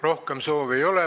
Rohkem soove ei ole.